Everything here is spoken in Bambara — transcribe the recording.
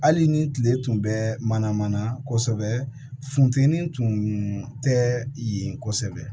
Hali ni tile tun bɛ mana mana kosɛbɛ funtɛnin tun tɛ yen kosɛbɛ